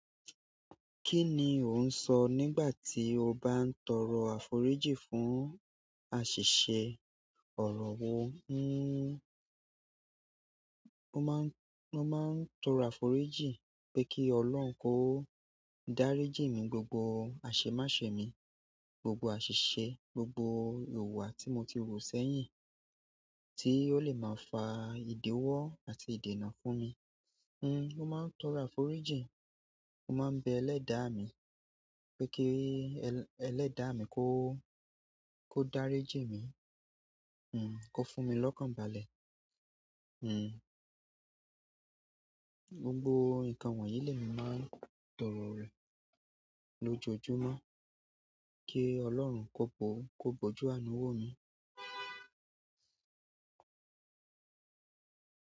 Kí ni ò ń sọ nígbà tí o bá ń tọrọ àforíjì fún àṣìṣe ọ̀rọ̀ wo? Mo maa n toro àforíjì pe ki ọlọ́run ko dariji mi gbogbo ase me se mi, gbogbo asise, gbogbo ìwà ti mo ti wu sẹ́yìn tí ó lè máa fa ìdéwọ́ àti ìdènà fún mi. Mo máa ń tọrọ àforíjìn, mo máa ń bẹ ẹlẹ́dàá mi pé kí ẹlẹ́dàá mi kó, kó dáríjì mí, kó fún mi lọ́kàn balẹ̀. Gbogbo nǹkan wọ̀nyí lemi máa ń tọrọ rẹ̀ lójoojúmọ́ kí Ọlọ́run kó pọ̀, kó bọ́jú àánú wo mi.